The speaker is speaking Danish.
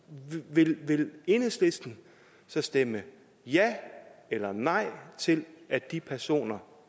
vil enhedslisten så stemme ja eller nej til at de personer